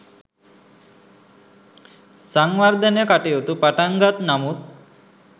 සංවර්ධන කටයුතු පටන්ගත් නමුත්